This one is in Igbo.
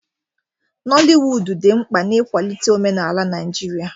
Noliwudu dị mkpa n'ịkwalite omenala Naijiria.